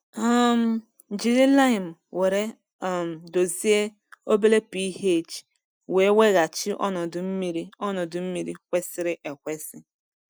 um Jiri laịmụ were um dozie obere pH wee weghachi ọnọdụ mmiri ọnọdụ mmiri kwesịrị ekwesị.